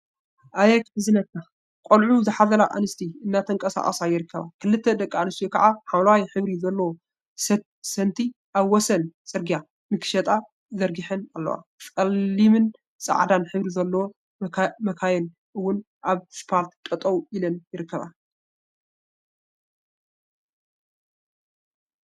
አየ ከሕዝናካ! ቆልዑ ዝሓዘላ አንስቲ እናተንቀሳቀሳ ይርከባ፡፡ ክልተ ደቂ አንስትዮ ከዓ ሓምለዋይ ሕብሪ ዘለዎ ሰቲ አብ ወሰን ፅርግያ ንክሸጣ ዘርጊሐን አለዋ፡፡ ፀላምን ፃዕዳን ሕብሪ ዘለወን መካኪን እውን አብ እስፓልት ጠጠው ኢለን ይርከባ፡፡